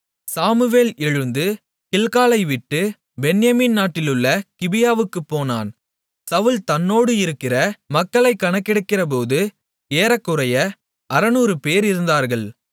Samuel எழுந்து கில்காலைவிட்டு Benjamin நாட்டிலுள்ள கிபியாவுக்குப் போனான் சவுல் தன்னோடு இருக்கிற மக்களைக் கணக்கெடுக்கிறபோது ஏறக்குறைய 600 பேர் இருந்தார்கள்